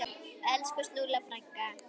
Elsku Snúlla frænka.